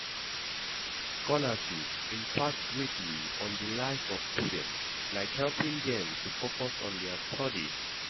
Scholarships impact greatly on di life of students, like helping dem to focus on dia studies.